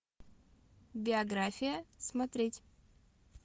биография смотреть